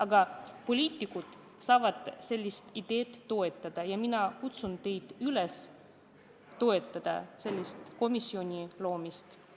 Aga poliitikud saavad seda ideed toetada ja mina kutsun teid üles toetama sellise komisjoni loomist.